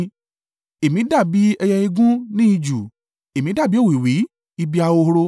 Èmi dàbí ẹyẹ igún ní ijù: èmi dàbí òwìwí ibi ahoro.